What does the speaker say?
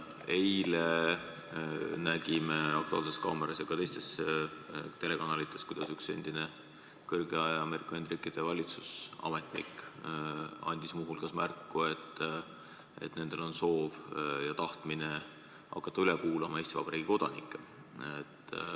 Eile nägime "Aktuaalses kaameras" ja ka teistes telekanalites, kuidas üks endine kõrge Ameerika Ühendriikide valitsusametnik andis muu hulgas märku, et nendel on soov ja tahtmine hakata üle kuulama Eesti Vabariigi kodanikke.